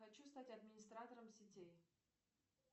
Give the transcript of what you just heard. хочу стать администратором сетей